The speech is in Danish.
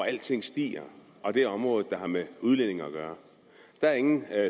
alting stiger og det er området der har med udlændinge at gøre der er ingen